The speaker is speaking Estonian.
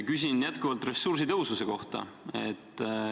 Küsin jätkuvalt ressursitõhususe kohta.